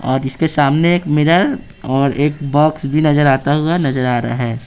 और इसके सामने एक मिरर और एक बॉक्स भी नजर आता हुआ नजर आ रहा है।